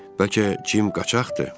Bəlkə Cim qaçaqdır?